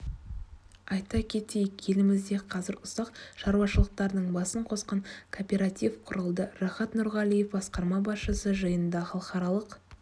айта кетейік елімізде қазір ұсақ шаруашылықтардың басын қосқан кооператив құрылды рахат нұрғалиев басқарма басшысы жиында халықаралық